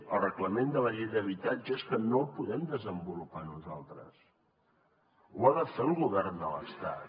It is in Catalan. el reglament de la llei d’habitatge és que no el podem desenvolupar nosaltres ho ha de fer el govern de l’estat